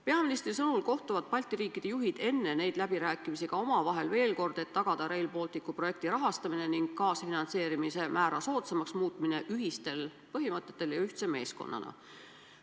Peaministri sõnul kohtuvad Balti riikide juhid enne neid läbirääkimisi ka omavahel veel kord, et tagada Rail Balticu projekti rahastamine ning kaasfinantseerimise määra soodsamaks muutmine, tegutsedes ühistel põhimõtetel ja ühtse meeskonnana.